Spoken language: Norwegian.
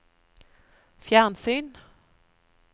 fjernsyn